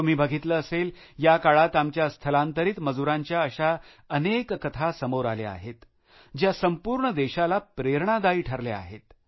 तुम्ही बघितलं असेल या काळात आमच्या स्थलांतरीत मजुरांच्या अशा अनेक कथा समोर आल्या आहेत ज्या संपूर्ण देशाला प्रेरणादायी ठरल्या आहेत